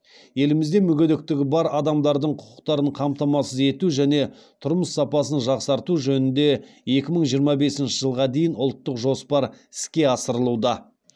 елімізде мүгедектігі бар адамдардың құқықтарын қамтамасыз ету және тұрмыс сапасын жақсарту жөнінде екі мың жиырма бесінші жылға дейінгі ұлттық жоспар іске асырылуда